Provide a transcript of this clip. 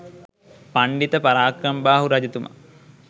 පණ්ඩිත පරාක්‍රමබාහු රජතුමා